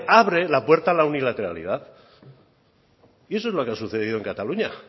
abre la puerta a la unilateralidad y eso es lo que ha sucedido en cataluña